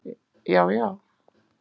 Já, já.